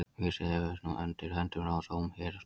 Vísir hefur undir höndum dóm héraðsdóms.